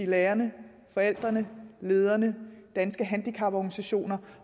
lærerne forældrene lederne danske handicaporganisationer